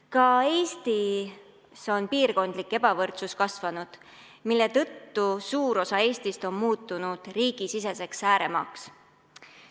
Ka Eestis on piirkondlik ebavõrdsus kasvanud, mille tõttu suur osa Eestist on muutunud riigisiseseks ääremaaks.